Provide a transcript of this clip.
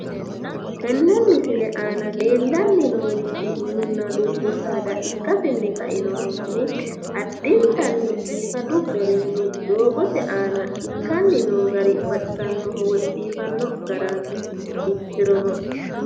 Tenne misile aana leellanni noorichi minunna dubbu saada ikkasinni kainohunni addintanni biifadu garinni doogote aana ikkani noo gari baxisanoho woyi biifanno garaati ikkirono..